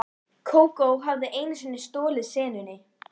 Geysis áttu sér nokkurn aðdraganda, en Strokks ekki.